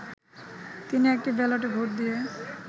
তিনি একটি ব্যালটে ভোট দিয়ে